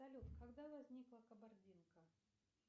салют когда возникла кабардинка